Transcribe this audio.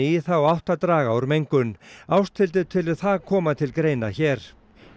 í þá átt að draga úr mengun Ásthildur telur það koma til greina hér